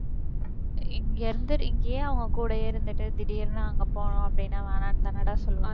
இங்க இருந்து~ இங்கேயே அவங்க கூடயே இருந்துட்டு திடீர்னு அங்க போகணும் அப்படின்னா வேணாம்னு தானடா சொல்லு